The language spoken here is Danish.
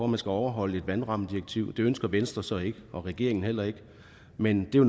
man skal overholde et vandrammedirektiv det ønsker venstre så ikke og regeringen heller ikke men det er